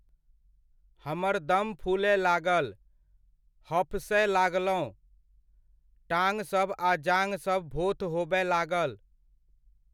हमर दम फूलय लागल, हफसय लागलहुँ, टाँगसभ आ जाँघसभ भोथ होबय लागल।